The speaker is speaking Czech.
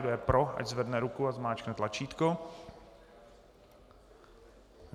Kdo je pro, ať zvedne ruku a zmáčkne tlačítko.